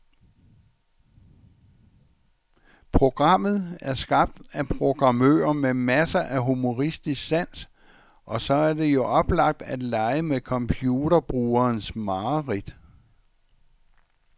Programmet er skabt af programmører med masser af humoristisk sans, og så er det jo oplagt at lege med computerbrugerens mareridt.